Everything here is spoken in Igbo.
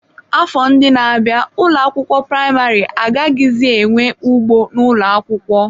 Afọ ndị na-abịa ụlọ akwụkwọ praịmarị agaghịzi enwe ugbo n'ụlọ akwụkwọ.